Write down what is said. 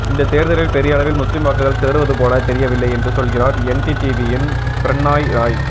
இந்த தேர்தலில் பெரிய அளவில் முஸ்லீம் வாக்குகள் சிதறுவது போல தெரியவில்லை என்று சொல்கிறார் என்டிடிவியின் பிரண்ணாய் ராய்